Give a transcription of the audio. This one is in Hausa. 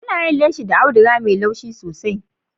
Ana yin leshi da audiga mai laushi sosai.